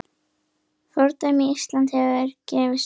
Fordæmi Íslands hefði gefist vel.